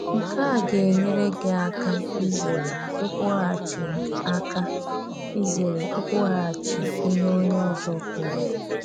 Nke a ga-enyérè gị àká izérè ikwúgháchi àká izérè ikwúgháchi ihe onyé ọzọ kwùrù.